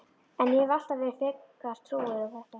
En ég hef alltaf verið frekar trúuð á þetta.